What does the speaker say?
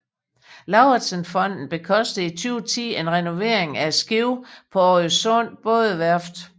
Lauritzen Fonden bekostede i 2010 en renovering af skibet på Årøsund Bådeværft